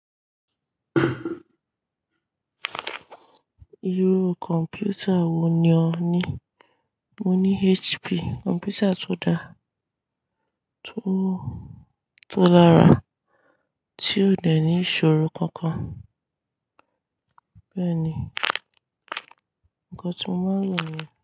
Irú kọ̀mpútà wo ni ò ní Mo ní HP, kọ̀mpútà tó dáa, tó, tó lára tí ó dẹ̀ ní ìṣòro kankan. Bẹ́ẹ̀ ni, nǹkan tí mo máa lò ní.